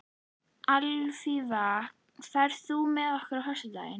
Alfífa, ferð þú með okkur á föstudaginn?